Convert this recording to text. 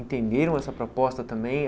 Entenderam essa proposta também?